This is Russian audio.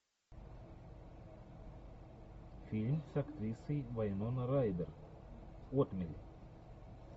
фильм с актрисой вайнона райдер отмель